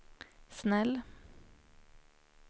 snäll